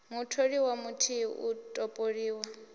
mutholiwa muthihi u a topoliwa